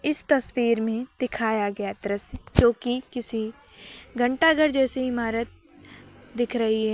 इस तस्वीर में दिखाया गया दृश्य जोकी किसी घंटाघर जैसे इमारत दिख रही है।